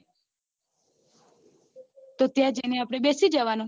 તો ત્યાં જઈને બેસી જવાનું